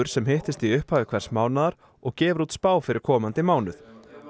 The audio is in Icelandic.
sem hittist í upphafi hvers mánaðar og gefur út spá fyrir komandi mánuð